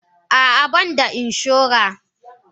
Ah ah banda inshora.